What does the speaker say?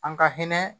An ka hinɛ